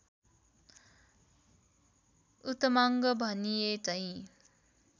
उत्तमाङ्ग भनिएझैं